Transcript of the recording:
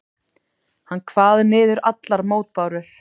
Hann kvað niður allar mótbárur.